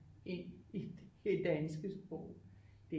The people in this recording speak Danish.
Ind i det danske sprog det